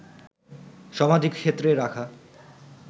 সমাধি ক্ষেত্রে রাখা